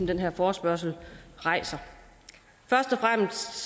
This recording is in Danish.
den her forespørgsel rejser først og fremmest